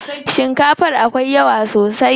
Shikafar akwai yawa sosai.